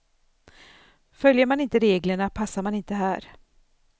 Följer man inte reglerna passar man inte här.